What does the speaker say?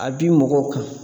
A bi mɔgɔw kan.